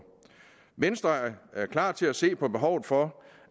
venstre er klar til at se på behovet for